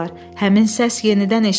Həmin səs yenidən eşidildi.